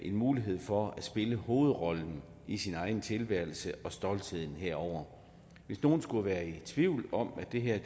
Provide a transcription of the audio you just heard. en mulighed for at spille hovedrollen i sin egen tilværelse og stoltheden herover hvis nogen skulle være i tvivl om at det her